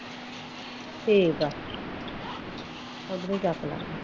ਠੀਕ ਆ ਉਦਰੋ ਚੱਕ ਲੈ ਗਏ